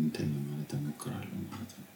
እንትን ማለት ተሞክሮ አለኝ ማለት ነው።